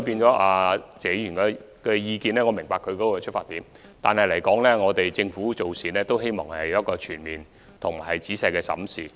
就謝議員的意見，我明白他的出發點，但政府希望作出全面及仔細審視。